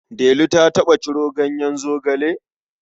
Delu ta taɓa ciro ganyen zogale?